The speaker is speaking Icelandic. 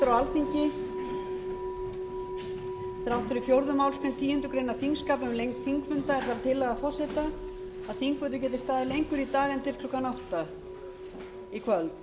þrátt fyrir fjórðu málsgreinar tíundu greinar þingskapa um lengd þingfunda er það tillaga forseta að þingfundur geti staðið lengur í dag en til klukkan átta í kvöld